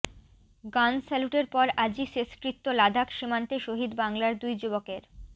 গান স্যালুটের পর আজই শেষকৃত্য লাদাখ সীমান্তে শহিদ বাংলার দুই যুবকের